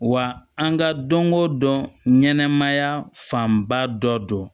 Wa an ka don o don ɲɛnɛmaya fanba dɔ don